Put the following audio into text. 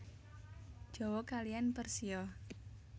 Jawa kaliyan Persia